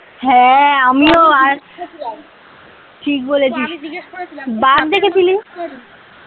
হ্যাঁ আমিও আর ঠিক বলেছিস বাঘ দেখেছিলি?